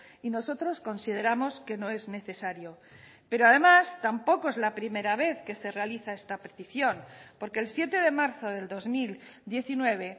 y nosotros consideramos que no es necesario pero además tampoco es la primera vez que se realiza esta petición porque el siete de marzo del dos mil diecinueve